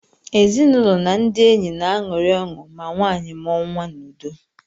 Ezinụlọ na ndị enyi na-aṅụrị ọṅụ ma nwanyị mụọ nwa n’udo